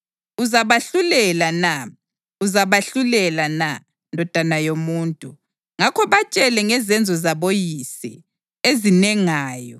Uzabahlulela na? Uzabahlulela na, ndodana yomuntu? Ngakho batshele ngezenzo zaboyise ezinengayo